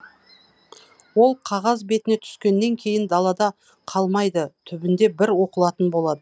ол қағаз бетіне түскеннен кейін далада қалмайды түбінде бір оқылатын болады